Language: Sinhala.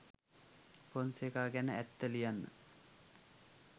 පොන්සේකා ගැන ඇත්ත ලියන්න